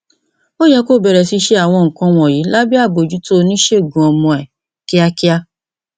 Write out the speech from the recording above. ó yẹ kí o bẹrẹ sí ṣe àwọn nǹkan wọnyí lábẹ àbójútó oníṣègùn ọmọ rẹ kíákíá